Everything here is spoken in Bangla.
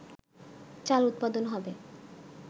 চাল উৎপাদন হবে